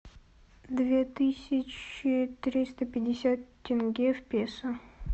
две тысячи триста пятьдесят тенге в песо